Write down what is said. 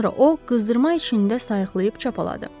Sonra o qızdırma içində sayıqlayıb çapaladı.